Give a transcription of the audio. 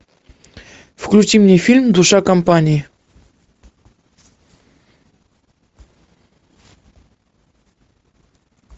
включи мне фильм душа компании